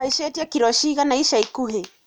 Uhaicĩtie kiro cigana ica ikuhĩ